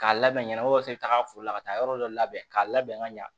K'a labɛn ɲɛnama walasa i bɛ taa foro la ka taa yɔrɔ dɔ labɛn k'a labɛn ka ɲa